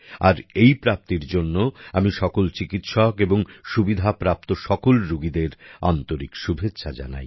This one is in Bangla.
আর এই প্রাপ্তির জন্য আমি সকল চিকিৎসক এবং এই সুবিধাপ্রাপ্ত সকল রুগীদের আন্তরিক শুভেচ্ছা জানাই